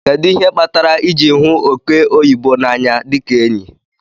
Kedu ihe kpatara iji hu oke oyibo na anya dika enyi?